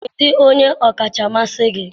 kedụ onye ọkacha mmasị gị?